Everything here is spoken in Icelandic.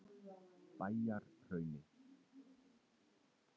Bæjarhrauni